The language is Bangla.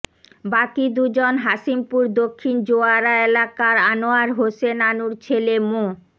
বাকি দুজন হাশিমপুর দক্ষিণ জোয়ারা এলাকার আনোয়ার হোসেন আনুর ছেলে মো